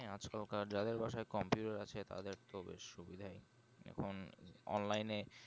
হ্যাঁ আজকাল কার যাদের বাসায় computer আছে তাদের তো বেশ সুবিধাই এখন online এ